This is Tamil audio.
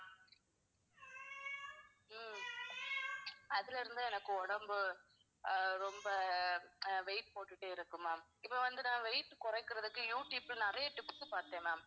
உம் அதுல இருந்து எனக்கு உடம்பு அஹ் ரொம்ப அஹ் weight போட்டுட்டு இருக்கு ma'am. இப்போ வந்து நான் weight குறைக்கிறதுக்கு you tube ல நிறையா tips பாத்தேன் ma'am